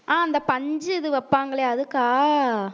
அஹ் அந்த பஞ்சு இது வப்பாங்களே அதுக்கா